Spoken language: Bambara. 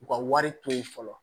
U ka wari to ye fɔlɔ